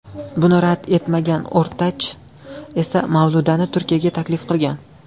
Buni rad etmagan O‘rtach esa Mavludani Turkiyaga taklif qilgan.